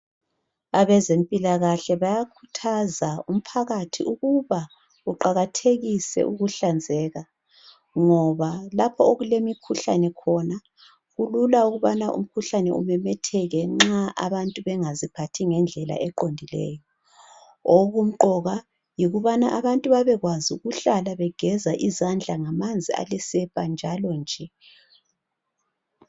Abezempilakahle bayakhuthaza umphakathi ukuba kuqakathekiswe ukuhlanzeka ngoba lapha okulemikhuhlane khona kulula ukubana umkhuhlane umemetheke nxa abantu bengazi phathi ngendlela eqondileyo okumqoka yikubana abantu babekwazi ukuhlala begeza izandla ngamanzi alesepa njalo nje.